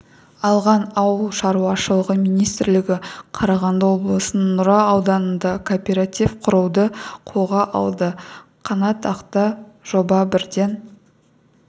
алған ауыл шаруашылығы министрлігі қарағанды облысының нұра ауданында кооператив құруды қолға алды қанатқақты жоба бірден